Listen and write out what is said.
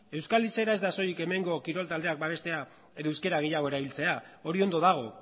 euskal izaera ez da soilik hemengo kirol taldeak babestea edo euskera gehiago erabiltzea hori ondo dago